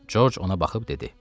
Corc ona baxıb dedi.